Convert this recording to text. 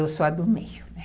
Eu sou a do meio, é.